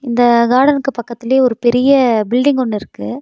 இந்த காடனுக்கு பக்கத்திலயே ஒரு பெரிய பில்டிங் ஒன்னு இருக்கு.